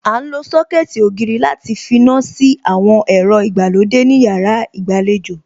À ń lo Sọ́kẹ̀tì ògiri láti finá sí àwọn ẹ̀rọ ìgbàlódé ní yàrá ìgbàlejò